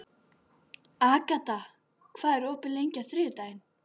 Agata, hvað er opið lengi á þriðjudaginn?